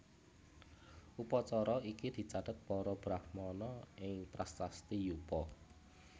Upacara iki dicatet para Brahmana ing prasasti Yupa